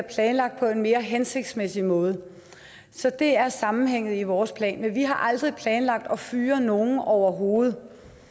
planlagt på en mere hensigtsmæssig måde så det er sammenhængen i vores plan men vi har aldrig planlagt at fyre nogen overhovedet